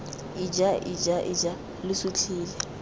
ija ija ija lo sutlhile